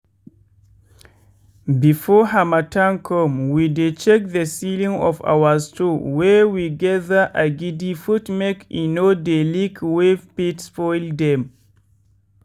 before harmattan come we dey check the ceiling of our store wey we gather agidi put make e no dey leak wey fit spoil dem.